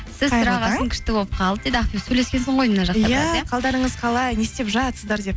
күшті болып қалдық дейді ақбибі сөйлескенсің ғой мына жақта қалдарыңыз қалай не істеп жатсыздар деп